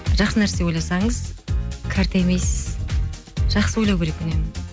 жақсы нәрсе ойласаңыз қартаймайсыз жақсы ойлау керек үнемі